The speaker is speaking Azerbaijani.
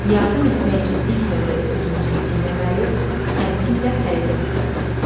Yardım etmək üçün ilk növbədə özünüzü itirməməli, təmkinlə hərəkət etməlisiz.